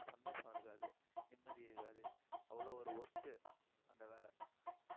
ஆனா சந்தோஷம் இருக்காது. நிம்மதி இருக்காது. அவ்வளவு ஒரு worst அந்த வேலை